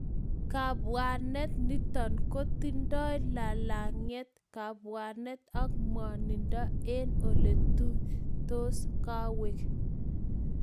Kapwanet nitok kotindoi lalang'yet, kapwanet ak mwanindo eng oletutost kawek